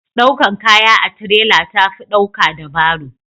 daukan kaya a tirela ta fi dauka da baro